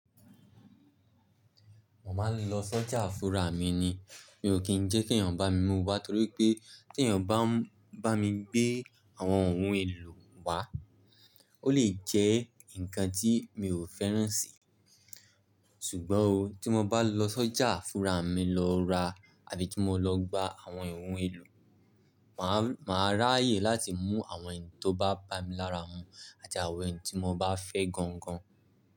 Mo máa ń lọ sọ́jà fúrà mi ni. Mi ò kí ń jẹ́ kí èèyàn bá mi mú wa torí pé tí èèyàn bá bá mi gbé àwọn ohun èlò wá, ó lè jẹ́ nǹkan tí mi ò fẹ́ràn si. Ṣùgbọ́n oh, tí mo bá lọ sọ́jà fúrà mi lọ ra àbí tí mo lọ gba àwọn ìwọ̀n èlò, màá rà áyè láti mú àwọn ẹ̀yin tó bá bami lára mú àti àwọn ẹ̀yin tí mo bá fẹ́ gan gan.